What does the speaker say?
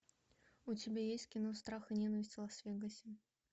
у тебя есть кино страх и ненависть в лас вегасе